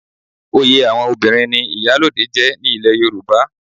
Oyè àwọn obìnrin ni Ìyálóde jẹ́ ní ilẹ̀ Yorùbá.